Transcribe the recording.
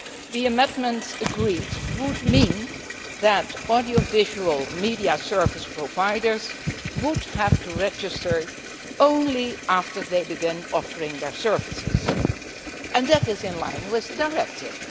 The amendments agreed would mean that audiovisual media service providers would have to register only after they begin offering their services, and that is in line with the directive.